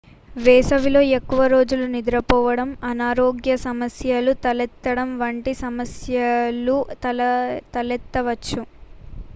వేసవిలో ఎక్కువ రోజులు నిద్రపోవడం అనారోగ్య సమస్యలు తలెత్తడం వంటి సమస్యలు తలెత్తవచ్చు